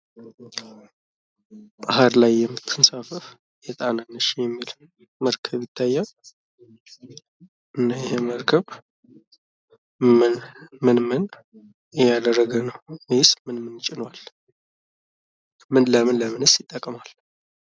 ባህር ላይ የምትንሳፈፍ የጣና ነሽ የሚል መርከብ ይታያል እና ይህ መርከብ ምን ምን እያደረገ ነው ?ወይስ ምን ምን ጭኗል? ለምን ለምንስ ይጠቅማል?